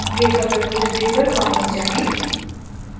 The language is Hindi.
github repository पर वापस जाएँ